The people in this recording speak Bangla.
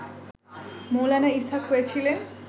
মৌলানা ইসহাক হয়েছিলেন